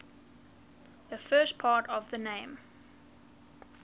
the first part of the name